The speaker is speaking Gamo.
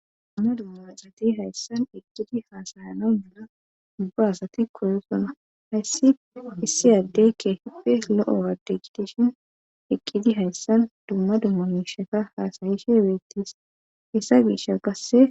Dumma dumma xati hayssan eqqidi haasayana mala dubba asati koyosona hayssi issi addeykke hipe lo7o waade gitishin eqqidi hayssan dumma dumma nusheka haasayishe beettis hessa gisha gasse.